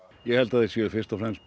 ég held að þeir séu fyrst og fremst